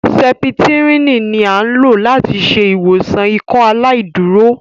Sẹ̀ptrìnì ni a n lo lati ṣe iwọsan Ìkọaláìdúró